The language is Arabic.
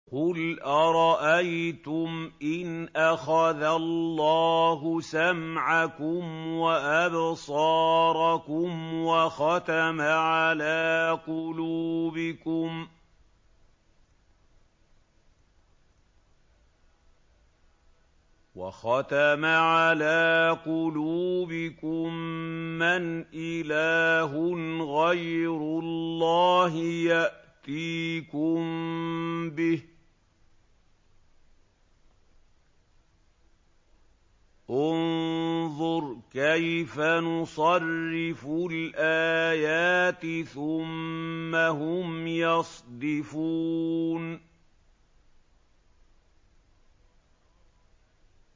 قُلْ أَرَأَيْتُمْ إِنْ أَخَذَ اللَّهُ سَمْعَكُمْ وَأَبْصَارَكُمْ وَخَتَمَ عَلَىٰ قُلُوبِكُم مَّنْ إِلَٰهٌ غَيْرُ اللَّهِ يَأْتِيكُم بِهِ ۗ انظُرْ كَيْفَ نُصَرِّفُ الْآيَاتِ ثُمَّ هُمْ يَصْدِفُونَ